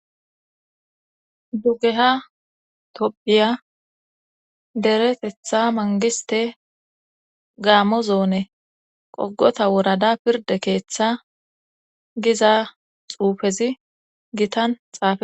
dugeha topphiya deretetha mangiste gaamo zoone qogota wurada pirde keeththa giza xuufezi gitan xaafe